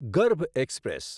ગર્ભ એક્સપ્રેસ